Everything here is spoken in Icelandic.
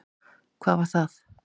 Hvað var það?